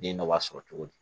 Den dɔ b'a sɔrɔ cogo di